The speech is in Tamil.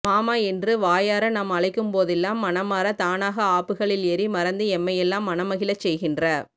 மாமா என்று வாயார நாம் அழைக்கும்போதெல்லாம் மனமார தானாக ஆப்புக்களில் ஏறி மறந்து எம்மையெல்லாம் மனமகிழச் செய்கின்ற